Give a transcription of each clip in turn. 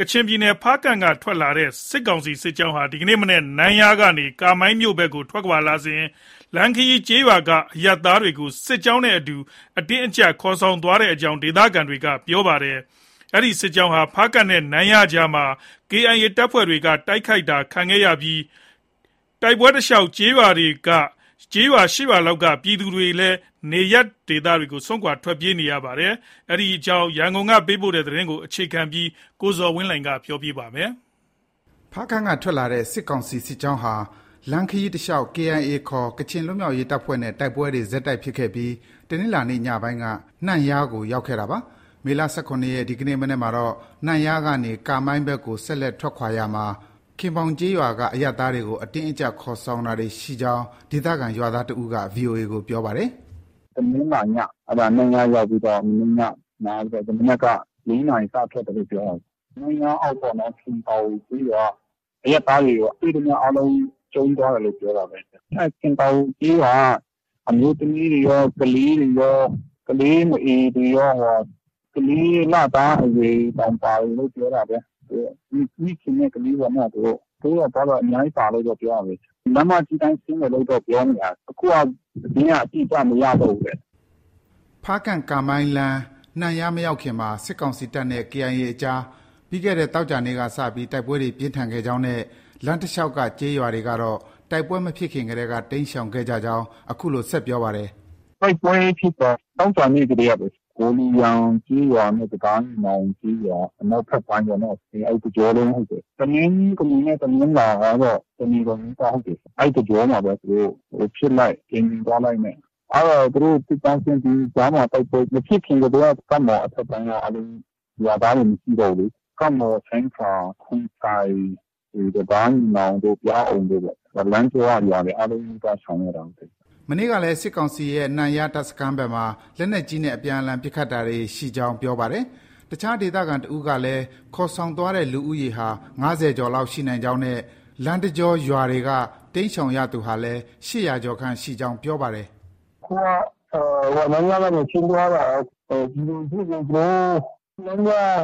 ကချင်ပြည်နယ်၊ ဖားကန့်က ထွက်လာတဲ့ စစ်ကောင်စီစစ်ကြောင်းဟာ ဒီကနေ့မနက် နန့်ယားကနေ ကာမိုင်းမြို့ဘက်ကို ထွက်ခွာလာစဉ် လမ်းခရီးကျေးရွာက အရပ်သားတွေကို စစ်ကြောင်းနဲ့အတူ အတင်းအကျပ် ခေါ်ဆောင်သွားကြောင်း ဒေသခံတွေက ပြောပါတယ်။ ဒီစစ်ကြောင်းဟာ ဖားကန့်နဲ့ နန့်ယားကြားမှာ KIA က တိုက်ခိုက်တာတွေရှိခဲ့ပြီး တိုက်ပွဲဖြစ်ပွားရာ လမ်းတလျောက်က ကျေးရွာ ၈ရွာလောက်က ပြည်သူတွေ နေရပ်စွန့်ခွာ ထွက်ပြေးခဲ့ရပါတယ်။ ဒီအကြောင်း သတင်းပေးပို့ချက်ကို အခြေခံပြီး ကိုဇော်ဝင်းလှိုင်က တင်ပြပေးပါမယ်။ ဖားကန့်က ထွက်လာတဲ့ စစ်ကောင်စီစစ်ကြောင်းဟာ လမ်းခရီးတလျောက် KIA ခေါ် ကချင်လွတ်မြောက်ရေး တပ်ဖွဲ့နဲ့ တိုက်ပွဲတွေ ဆက်တိုက်ဖြစ်ခဲ့ပြီး တနင်္လာနေ့ညပိုင်းက နန့်ယားကို ရောက်ခဲ့တာပါ။ မေလ ၁၇ ရက်၊ ဒီကနေ့မနက်မှာတော့ နန့်ယားကနေ ကာမိုင်းဘက်ကို ဆက်လက်ထွက်ခွာရာမှာ ခင်ပေါင်ကျေးရွာက အရပ်သားတွေကို အတင်းအကျပ် ခေါ်ဆောင်တာတွေရှိကြောင်း ဒေသခံရွာသားတစ်ဦးက VOA ကို ပြောပါတယ်။ “တနင်္လာည၊ အဲဒါ နန့်ယားရောက်ပြီးတော့ မနေ့ည နားပြီးတော့ ဒီမနက်က ၄နာရီ စထွက်တယ်လို့ ပြောတာပဲ။ နန့်ယားအောက်ပေါ့နော်။ ခင်ပေါင်ကျေးရွာက အရပ်သားတွေကို တွေ့သမျှ အားလုံး ကြုံးသွားတယ်လို့ ပြောတာပဲ။ အဲဒီ ခင်ပေါင်ကျေးရွာက အမျိုးသမီးတွေရော၊ ကလေးတွေရော၊ ကလေးမအေတွေရော၊ ကလေး လသားအရွယ်တွေတောင် ပါတယ်လို့ ပြောတာပဲ။ မိခင်နဲ့ ကလေးပေါ့နော် သူတို့။ ဘိုးတော်၊ ဘွားတော် အများကြီးပါတယ်လို့တော့ ပြောတာပဲ။ လမ်းမကြီးအတိုင်း ဆင်းမယ်လို့တော့ ပြောနေတာ။ အခုက သတင်းက အတိအကျ မရတော့ဘူးတဲ့။” ဖားကန့်−ကားမိုင်းလမ်း နန့်ယားမရောက်ခင်မှာ စစ်ကောင်စီတပ်နဲ့ KIA အကြား ပြီးခဲ့တဲ့ သောကြာနေ့က စပြီး တိုက်ပွဲတွေ ပြင်းထန်ခဲ့ကြောင်းနဲ့ လမ်းတလျှောက်က ကျေးရွာတွေကတော့ တိုက်ပွဲမဖြစ်ခင်ကတည်းက တိမ်းရှောင်ခဲ့ကြကြောင်း အခုလို ဆက်ပြောပါတယ်။ “တိုက်ပွဲဖြစ်တာ သောကြာနေ့ကတည်းပဲ။ ဂေါ်လူယန်ကျေးရွာနဲ့ တံတားညီနောင်ကျေးရွာ အနောက်ဖက်ပိုင်းပေါ့နော။ အဲဒီတစ်ကြောလုံး ဟုတ်တယ်။ တနင်္ဂနွေနဲ့ တနင်္လာက တစ်နေကုန်နီးပါး ဟုတ်တယ်။ အဲဒီတစ်ကြောမှာပဲ။ ဖြစ်လိုက်၊ ပြန်ငြိမ်သွားလိုက်နဲ့။ အဲဒါ သူတို့ စစ်ကြောင်းဆင်းပြီး ကြားမှာ တိုက်ပွဲမဖြစ်ခင်ကတည်းက ကပ်မှော်အထက်ပိုင်းက အားလုံး ရွာသားတွေ မရှိတော့ဘူးလေ။ လမ်းကြောက ရွာအားလုံးနီးပါး ရှောင်ရတာ ဟုတ်တယ်။” မနေ့ညကလည်း စစ်ကောင်စီရဲ့ နန့်ယားတပ်စခန်းဘက်မှာ လက်နက်ကြီးနဲ့ အပြန်အလှန်ပစ်ခတ်တာတွေ ရှိကြောင်း ပြောပါတယ်။ အခြားဒေသခံတစ်ဦးကလည်း ခေါ်ဆောင်သွားတဲ့ လူဦးရေဟာ ၅၀ ကျော်လောက်ရှိနိုင်ကြောင်းနဲ့ လမ်းတကြောရွာတွေက တိမ်းရှောင်ရသူဟာလည်း ၈၀၀ ကျော်ခန့်ရှိကြောင်း ပြောပါတယ်။ “အခုက နန့်ယားကနေ ဆင်းသွားတာ။ ပြည်သူလူထုတွေကို ဒီ ခင်ပေါင်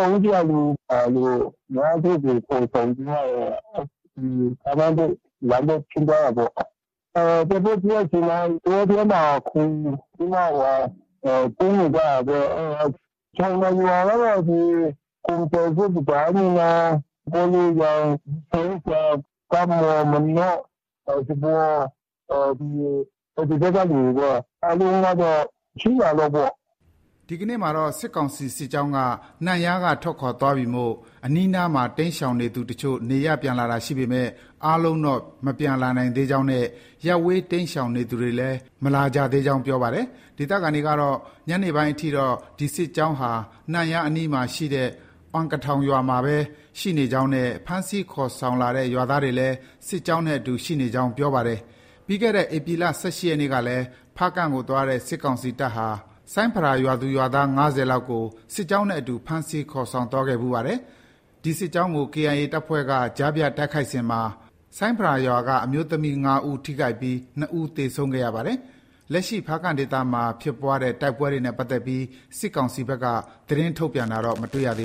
ဘက်၊ နန့်ယား ပတ်ဝန်းကျင်ကလူ ၅၀ကျော် ခေါ်ဆောင်ပြီးမှ ကာမိုင်းဘက်၊ လမ်းဘက် ဆင်းသွားတာပေါ့။ တိုက်ပွဲဖြစ်တဲ့အချိန်မှာ တောထဲမှာ ခိုပြီးတော့ ပုန်းနေကြတာပေါ့။ အဲဒါ ရှောင်တာရွာကတော့ ဒီ ကွမ်အိုင်ဇွပ်၊ တံတားညီနောင်၊ ဂေါ်လူယန်၊ ဆိုင်းဖရာ၊ ကပ်မှော်၊ မနော့၊ စပေါ်၊ ဒီဘက်ကလူတွေပဲ။ အားလုံးကတော့ ၈ရွာလောက်ပေ့ါ။” ဒီကနေ့မှာတော့ စစ်ကောင်စီစစ်ကြောင်းက နန့်ယားကထွက်ခွာသွားပြီမို့ အနီးအနားမှာ တိမ်းရှောင်နေသူအချို့ နေရပ်ပြန်တာရှိပေမဲ့ အားလုံးတော့ မပြန်နိုင်သေးကြောင်းနဲ့ ရပ်ဝေး တိမ်းရှောင်နေသူတွေလည်း မလာကြသေးကြောင်း ပြောပါတယ်။ ဒေသခံတွေကတော့ ညနေပိုင်းအထိတော့ ဒီစစ်ကြောင်းဟာ နန့်ယားအနီးမှာရှိတဲ့ အွမ်ကထောင်ရွာမှာပဲ ရှိနေကြောင်းနဲ့ ဖမ်းဆီး ခေါ်ဆောင်လာတဲ့ ရွာသားတွေလည်း စစ်ကြောင်းနဲ့အတူ ရှိနေကြောင်း ပြောပါတယ်။ ပြီးခဲ့တဲ့ ဧပြီလ ၁၈ရက်နေ့ကလည်း ဖားကန့်ကို သွားတဲ့ စစ်ကောင်စီတပ်ဟာ ဆိုင်းဖရာရွာသူ၊ ရွာသား ၅၀လောက်ကို စစ်ကြောင်းနဲ့အတူ ဖမ်းဆီးခေါ်ဆောင်သွားခဲ့ဖူးပါတယ်။ ဒီစစ်ကြောင်းကို KIA တပ်ဖွဲ့က ကြားဖြတ်တိုက်ခိုက်စဉ်မှာ ဆိုင်းဖရာရွာက အမျိုးသမီး ၅ဦးထိခိုက်ပြီး ၂ဦး သေဆုံးခဲ့ရပါတယ်။ လက်ရှိ ဖားကန့်ဒေသမှာဖြစ်ပွားတဲ့တိုက်ပွဲတွေနဲ့ပတ်သက်ပြီး စစ်ကောင်စီဘက်က သတင်းထုတ်ပြန်တာတော့ မတွေ့ရပါ